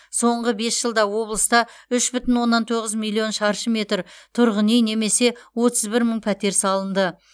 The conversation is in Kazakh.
соңғы бес жылда облыста үш бүтін оннан тоғыз миллион шаршы метр тұрғын үй немесе отыз бір мың пәтер салынды